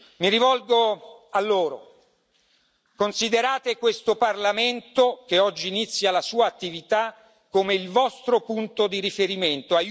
Mi rivolgo a loro considerate questo Parlamento, che oggi inizia la sua attività, come il vostro punto di riferimento.